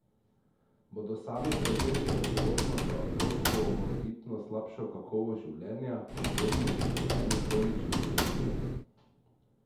Bodo sami prevzeli odgovornost za otrokovo morebitno slabšo kakovost življenja ob pozno ugotovljeni kronični bolezni?